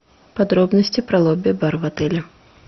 подробности про лобби бар в отеле